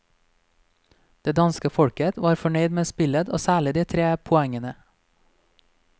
Det danske folket var fornøyd med spillet og særlig de tre poengene.